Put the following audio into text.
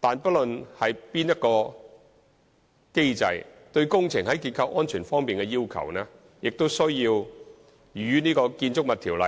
但是，不論何種機制，對工程在結構安全方面的要求，也需要與《建築物條例》